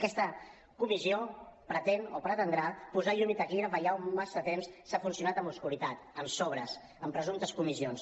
aquesta comissió pretén o pretendrà posar llum i taquígrafs allà on massa temps s’ha funcionat amb obscuritat amb sobres amb presumptes comissions